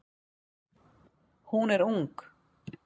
Hún er ung.